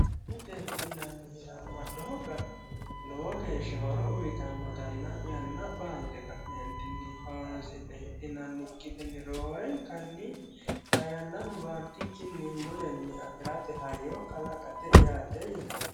Lowo geeshsha horo uyiitanotanna yanna baante ka'nentini hawarisi'ne hidhinaninte roorenkani yannano baantikkini mulenni afirate hayyo kalaqate yaate yinanni.